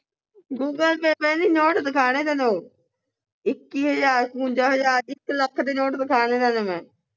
google pay ਨਹੀਂ note ਦਿਖਾਣੇ ਤੈਨੂੰ ਇੱਕੀ ਹਜਾਰ, ਇਕਵੰਜਾ ਹਜਾਰ, ਇਕ ਲੱਖ ਦੇ ਨੋਟ ਵਿਖਾਣੇ ਤੈਨੂੰ ਮੈਂ